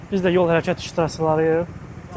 Biz də yol hərəkəti iştirakçılarıyıq.